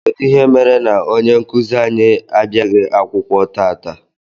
Kedụ ihe mere na ọnye nkuzi anyị abiaghi akwụkwọ tata?